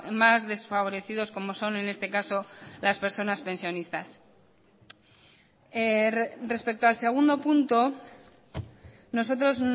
más desfavorecidos como son en este caso las personas pensionistas respecto al segundo punto nosotros